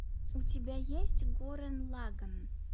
у тебя есть гуррен лаганн